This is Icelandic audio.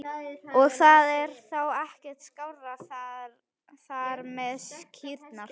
Og það er þá ekkert skárra þar með kýrnar?